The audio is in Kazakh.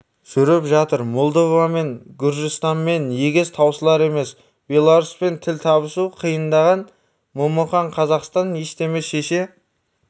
жүріп жатыр молдовамен гүржістанмен егес таусылар емес белоруспен тіл табысу қиындаған момақан қазақстан ештеме шеше